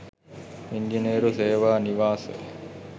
ඉංජිනේරු සේවා නිවාස